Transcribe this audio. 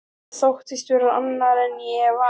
Ég þóttist vera annar en ég var.